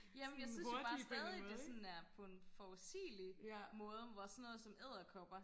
jamen jeg synes jo bare stadig det sådan er på en forudsigelig måde hvor sådan noget som edderkopper